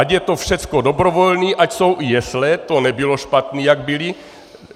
Ať je to všechno dobrovolné, ať jsou i jesle, to nebylo špatné, jak byly.